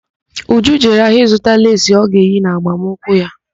Uju jere ahịa ịzụta ákwà leesi ọ ga-eyi na agbamnkwụ ya.